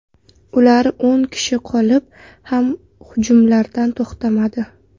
Ular o‘n kishi qolib ham hujumlardan to‘xtamadi.